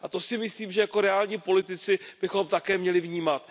A to si myslím, že jako reální politici bychom také měli vnímat.